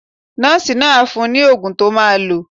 Nọ́ọ̀sì náà á fún ẹ ní oògùn to máa lò.